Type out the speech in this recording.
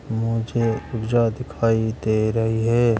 मुझे पूजा दिखाई दे रही है।